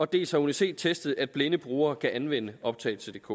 dels har uni c testet at blinde brugere kan anvende optagelsedk